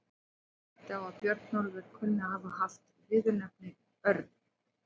Jón benti á að Björnólfur kunni að hafa haft viðurnefnið örn.